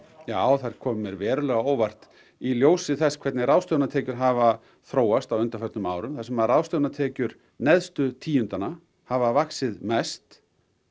já þær koma mér verulega á óvart í ljósi þess að hvernig ráðstöfunartekjur hafa þróast á undanförnum árum þar sem ráðstöfunartekjur neðstu tíundanna hafa vaxið mest